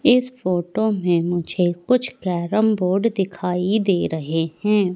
इस फोटो में मुझे कुछ कैरम बोर्ड दिखाई दे रहे हैं।